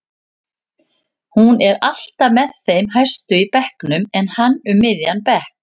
Hún er alltaf með þeim hæstu í bekknum en hann um miðjan bekk.